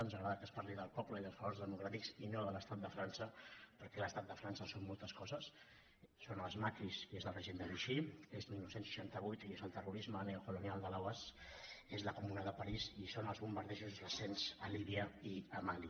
ens agrada que es parli del poble i dels valors democràtics i no de l’estat de frança perquè l’estat de frança són moltes coses són els maquis i és el règim de vichy és dinou seixanta vuit i és el terrorisme neocolonial de l’oas és la comuna de parís i són els bombardejos recents a líbia i a mali